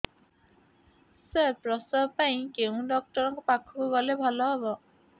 ସାର ପ୍ରସବ ପାଇଁ କେଉଁ ଡକ୍ଟର ଙ୍କ ପାଖକୁ ଗଲେ ଭଲ ହେବ